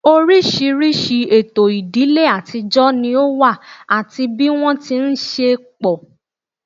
Oríṣiríṣi ètò ìdílé àtijọ́ ni ó wà àti bí wọ́n ti ń ṣe pọ̀